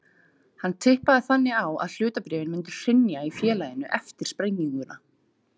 Hann tippaði þannig á að hlutabréfin myndu hrynja í félaginu eftir sprenginguna.